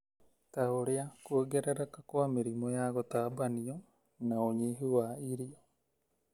ta ũrĩa kwongerereka kwa mĩrimũ ya gũtambanio na ũnyihu wa irio.